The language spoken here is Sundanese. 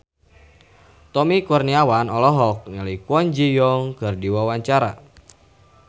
Tommy Kurniawan olohok ningali Kwon Ji Yong keur diwawancara